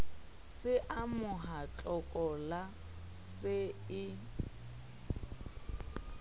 se amoha tlokola se e